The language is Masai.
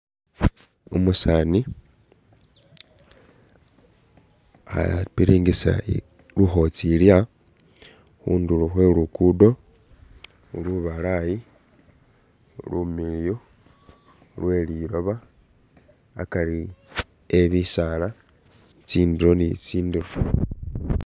Umusaani khapiringisa lukhotsiilya khundulo khwe Luguudo lubalaayi, lumiliyu lwe liloba, akari eh bisaala, tsindulo ni tsindulo.